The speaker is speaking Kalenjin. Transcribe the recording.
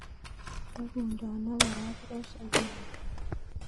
Tokundono barabaroshek en inguni